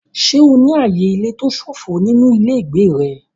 Ṣé o ní ààyè ilé tó ṣófo nínú ilé ìgbé rẹ?